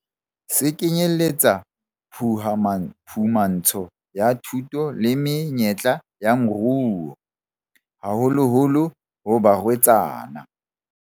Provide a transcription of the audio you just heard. Se kenyeletsa phuhama phumantsho ya thuto le menyetla ya moruo, haholoholo ho barwetsana.